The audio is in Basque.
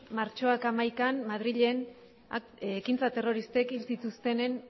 martxoak hamaikan madrilen ekintza terroristek hil zituztenen